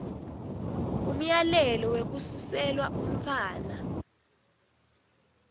umyalelo wekusiselwa umntfwana